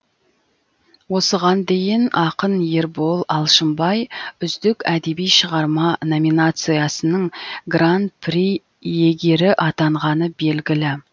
осыған дейін ақын ербол алшынбай үздік әдеби шығарма номинациясының гран при иегері атанғаны белгілі